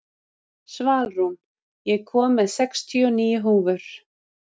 Svalrún, ég kom með sextíu og níu húfur!